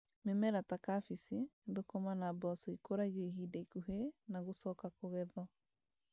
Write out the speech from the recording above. Mĩmera ta kabici, thũkũma na mboco ikũragio ihinda ikuhĩ na gũcoka kũgethwo